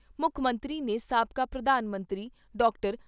ਮੁੱਖ ਮੰਤਰੀ ਨੇ ਸਾਬਕਾ ਪ੍ਰਧਾਨ ਮੰਤਰੀ ਡਾਕਟਰ